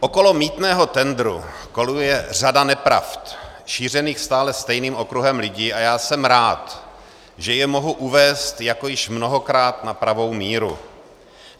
Okolo mýtného tendru koluje řada nepravd šířených stále stejným okruhem lidí, a já jsem rád, že je mohu uvést, jako již mnohokrát, na pravou míru.